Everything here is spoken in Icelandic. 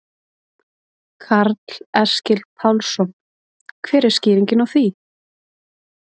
Karl Eskil Pálsson: Hver er skýringin á því?